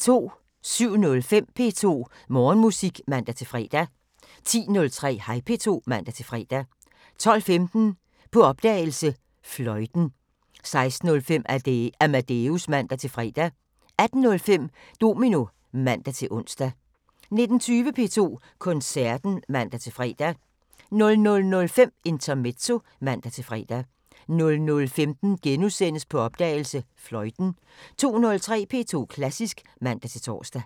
07:05: P2 Morgenmusik (man-fre) 10:03: Hej P2 (man-fre) 12:15: På opdagelse – Fløjten 16:05: Amadeus (man-fre) 18:05: Domino (man-ons) 19:20: P2 Koncerten (man-fre) 00:05: Intermezzo (man-fre) 00:15: På opdagelse – Fløjten * 02:03: P2 Klassisk (man-tor)